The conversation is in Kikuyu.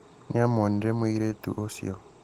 Nĩamwonire mũirĩtu ũcio.